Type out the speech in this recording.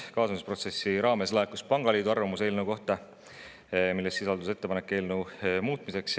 Kaasamisprotsessi raames oli laekunud pangaliidu arvamus eelnõu kohta, milles sisaldus ettepanek eelnõu muutmiseks.